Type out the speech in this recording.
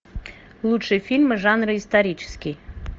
лучшие фильмы жанра исторический